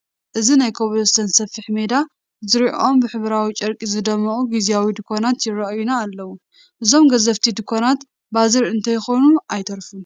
እዚ ናይ ኮብል ስቶን ሰፊሕ ሜዳ ዙርይኦም ብሕብራዊ ጨርቂ ዝደመቑ ግዚያዊ ድንዃናት ይርአዩና ኣለዉ፡፡ እዞም ገዘፍቲ ድንዃናት ባዛር እንተይኮኑ ኣይተርፉን፡፡